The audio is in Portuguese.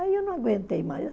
Aí eu não aguentei mais.